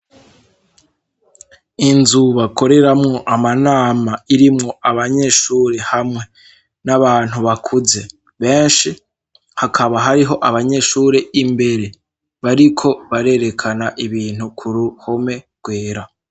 Inzuba akoreramwo amanama irimwo abanyeshure hamwe n'abantu bakuze benshi hakaba hariho abanyeshure imbere bariko barerekana ibintu ku ruhome rwera.